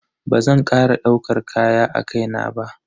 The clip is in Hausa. Bazan kara daukar kaya a kai na ba.